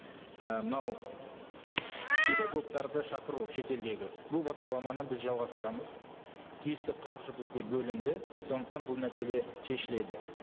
і мынау педагогтарды шақыру шетелдегі бұл бағдарламаны біз жалғастырамыз тиісті қаржы бізде бөлінді сондықтан бұл мәселе шешіледі